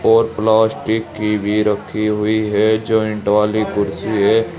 और प्लास्टिक की भी रखी हुई है। ज्वाईंट वाली कुर्सी है।